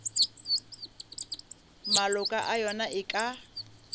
maloko a yona e ka